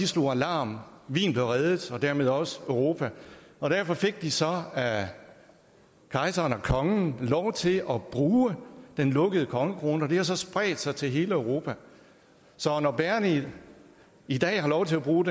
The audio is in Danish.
slog alarm wien blev reddet og dermed også europa og derfor fik de så af kejseren og kongen lov til at bruge den lukkede kongekrone og det har så spredt sig til hele europa så når bagerne i dag har lov til at bruge